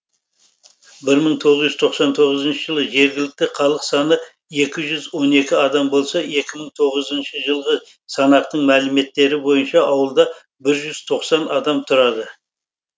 бір мың тоғыз жүз тоқсан тоғызыншы жылы жергілікті халық саны екі жүз он екі адам болса екі мың тоғызыншы жылғы санақтың мәліметтері бойынша ауылда бір жүз тоқсан адам тұрады